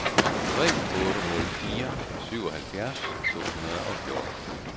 tre otte nul fire syvoghalvfjerds to hundrede og fjorten